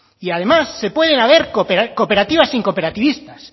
y además puede haber cooperativas sin cooperativistas